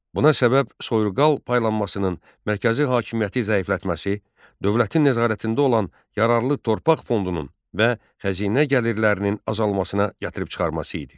Buna səbəb soyurqal paylanmasının mərkəzi hakimiyyəti zəiflətməsi, dövlətin nəzarətində olan yararlı torpaq fondunun və xəzinə gəlirlərinin azalmasına gətirib çıxarması idi.